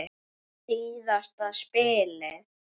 Síðasta spilið.